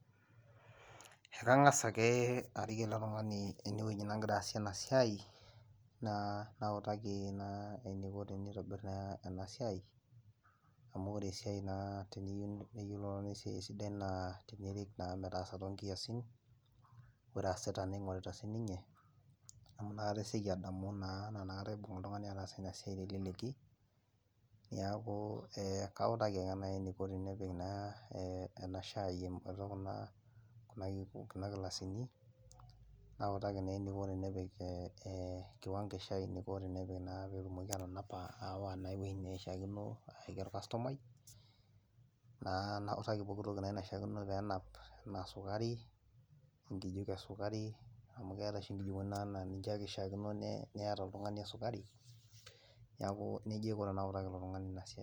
Ekang'as ake arik ele tung'ani enewoji nagira aasie ena siai naa nautaki naa eniko tenitobirr naa ena siai amu ore esiai naa teniyieu neyiolou oltung'ani esiai sidai naa tenirik naa metaasa tonkiasin ore aasita ning'orita sininye amu inakata esioki adamu naa naa inakata ibung oltung'ani ataasa ina siai teleleki niaku eh kautaki ake naai eneiko tenepik naa eh ena shai em atua kuna kuna kiku kuna kilasini nautaki naa eniko tenepik eh kiwango eshai eniko tenepik naa petumoki atanapa aawa naa ewuei neishiakino ayaki orkastomai naa nautaki pokitoki naa naishiakino peenap enaa sukari enkijiko esukari amu keetae oshi inkijikoni naa naa ninche ake ishiakino ne niyata oltung'ani esukari neeku nejia aiko tenautaki ilo tung'ani ina siai.